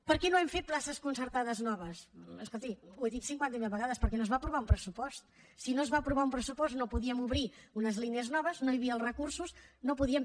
per què no hem fet places concertades noves escolti ho he dit cinquanta mil vegades perquè no es va aprovar un pressupost si no es va aprovar un pressupost no podíem obrir unes línies noves no hi havia els recursos no podíem